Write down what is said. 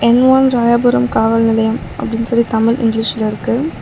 என் one Royapuram காவல் நிலையம் அப்டின் சொல்லி தமிழ் இங்லீஷ்லிருக்கு .